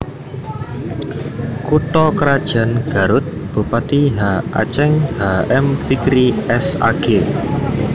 Kutha krajan GarutBupati H Aceng H M Fikri S Ag